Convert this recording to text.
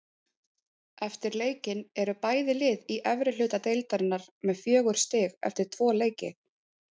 Eftir leikinn eru bæði lið í efri hluta deildarinnar með fjögur stig eftir tvo leiki.